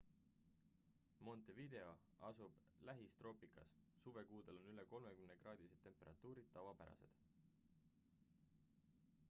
montevideo asub lähistroopikas; suvekuudel on üle +30 °c temperatuurid tavapärased